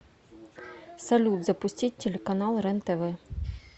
салют запустить телеканал рентв